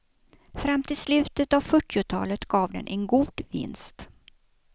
Fram till slutet av fyrtiotalet gav den en god vinst.